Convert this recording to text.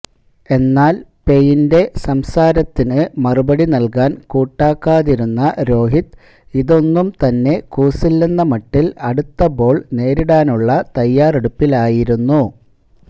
എന്നാൽ പെയിന്റെ സംസാരത്തിന് മറുപടി നൽകാൻ കൂട്ടാക്കാതിരുന്ന രോഹിത് ഇതൊന്നുംതന്നെ കൂസില്ലെന്ന മട്ടിൽ അടുത്ത ബോൾ നേരിടാനുള്ള തയ്യാറെടുപ്പിലായിരുന്നു